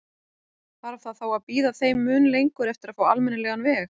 Þarf það þá að bíða þeim mun lengur eftir að fá almennilegan veg?